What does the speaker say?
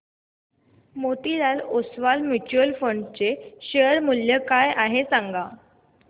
Motilal Oswal mutual fund चे share मूल्य काय आहे सांगा